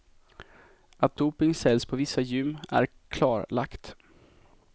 Att doping säljs på vissa gym är klarlagt.